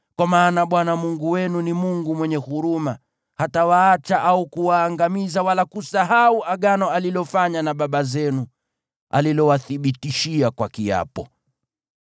Kwa maana Bwana Mungu wenu ni Mungu mwenye huruma, hatawaacha au kuwaangamiza wala kusahau Agano alilofanya na baba zenu, alilowathibitishia kwa kiapo.